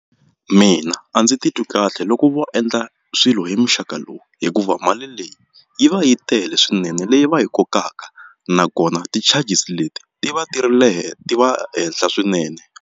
Mina a ndzi titwi kahle loko vo endla swilo hi muxaka lowu hikuva mali leyi yi va yi tele swinene leyi va yi kokaka nakona ti-charges leti ti va ti ri le ti va henhla swinene.